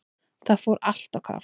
Það fór allt á kaf.